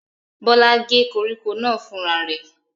Bọ́lá gé koríko náà fúnra rẹ̀?